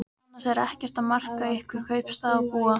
Annars er ekkert að marka ykkur kaupstaðarbúa.